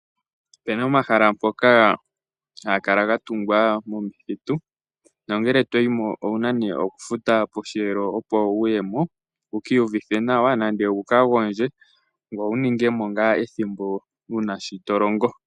Opena omahala ngoka haga kala ga tungwa momithitu nongele toyimo owuna nee okufuta Posheelo opo wuyemo, wu kiniyuvithe nawa nande wu kagondje ngoye wu ningemo ngaa ethimbo wuna shi tolongo.